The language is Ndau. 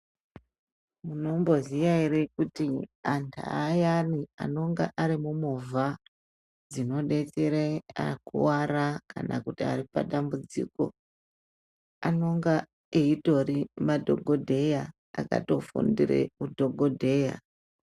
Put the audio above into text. Munomboziya ere kuti antu ayani anonga ari mumovha dzinodetsera vakuwara kana vanonga varipadambudziko anonga atori madhogodheya akatofundire udhogodheya.